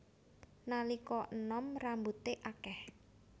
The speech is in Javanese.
Nalika enom rambuté akèh